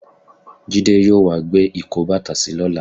Jídé yóò wá gbé ìkóbàtàsí lọ́la.